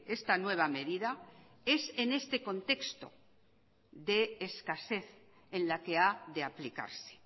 esta nueva medida es en este contexto de escasez en la que ha de aplicarse